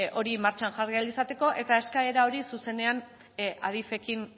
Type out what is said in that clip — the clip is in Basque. hori martxan jarri ahal izateko eta eskaera hori zuzenean adif ekin